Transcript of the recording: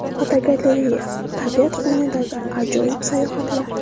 Fotogalereya: Tabiat qo‘ynidagi ajoyib sayohatlar.